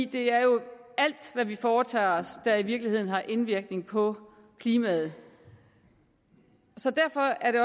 det er jo alt hvad vi foretager os der i virkeligheden har indvirkning på klimaet så derfor er det